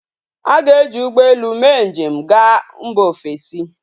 A ga eji ugbo ele mee nji ga mba ofesi